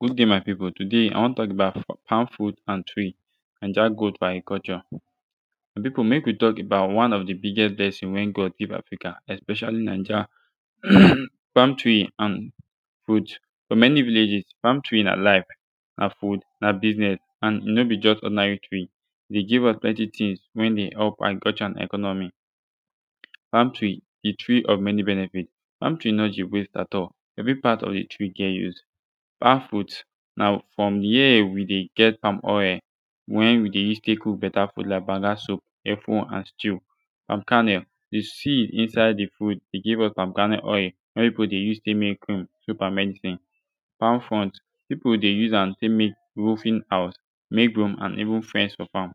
good dai my pipu today i wan tok about palm fruit and tree naija growth for agriculture my pipu mek wi tok about one of de biggest blessing wen God give Africa especiali naija um palm tree and fruit fo mani villages palm tree na life na food na biznez and e no bi jus ordinary tree e give us plenti tins wen de help for agriculture and economy palm tree de tree of mani benefits palm tree no de waste at all evri part of de tree get use palm fruit na frum here wi de get palm oil wen wi de use tek cook beta soup lik banga soup efo and stew palm kernel de seed inside de fruit dey give us palm kernel oil wey everybodi dey use tek make cream soap and mani tins palm front pipu dey use am tek mek roofing houz mek broom and even fence fo farm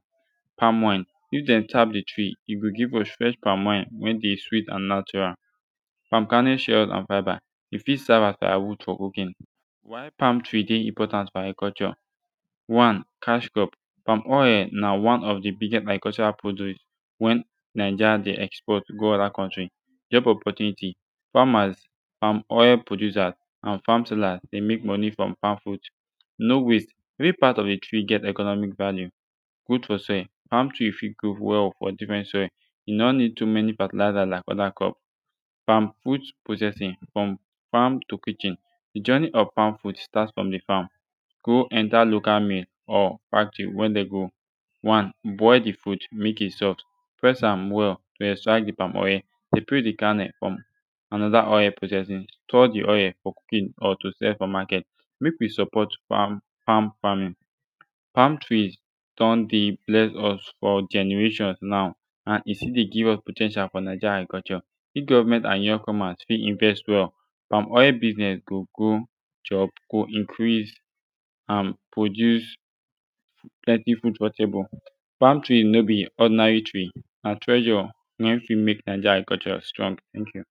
palm wine if dem tap de tree e go give us fresh palm wine wen de sweet and natural palm kernel shell and fibre e fit serve as firewood fo cooking why palm tree dey important fo agriculture one cash crop palm oil na one of de biggest agricultural produce wen naija dey export go oda kontri job opportunitis famas palm oil producers and fam sellers dey mek monie frum palm fruit no waste evri part of de tree get economic value food fo sale palm tree fit grow wel fo difrent soil e no nid too mani fertilizer like oda crop palm fruit processing frum fam to kitchen de journey of fam produce starts frum de fam go enta local mill or factory wen dey go one boil de fruit mek e soft press am wel to extract de palm oil seperate de palm kernel frum anoda oil processin store de oil to kip or to sell fo maket mek wi support palm famin palm trees don dey bless us fo generations now and e still de give us po ten tial fo naija agriculture if govment and young famas fit invest wel palm oil business go go chop go increase and produce plenti food fo table palm tree no be ordinary tree na treasure wey fit mek naija agriculture strong teink yu